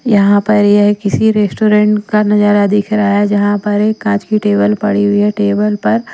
यहां पर यह किसी रेस्टोरेंट का नजारा दिख रहा है जहां पर एक कांच की टेबल पड़ी हुई है टेबल पर --